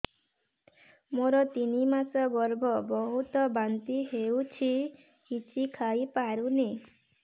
ମୋର ତିନି ମାସ ଗର୍ଭ ବହୁତ ବାନ୍ତି ହେଉଛି କିଛି ଖାଇ ପାରୁନି